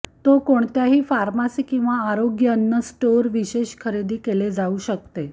तो कोणत्याही फार्मसी किंवा आरोग्य अन्न स्टोअर विशेष खरेदी केले जाऊ शकते